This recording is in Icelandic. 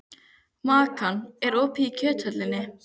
Makan, er opið í Kjöthöllinni?